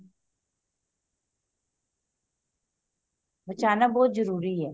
ਬਚਾਣਾ ਬਹੁਤ ਜਰੂਰੀ ਐ